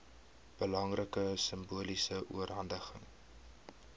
belangrike simboliese oorhandiging